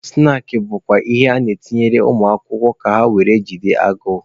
Snaakị bụkwa ihe a na-etinyere ụmụ akwụkwọ ka ha were jide agụụ.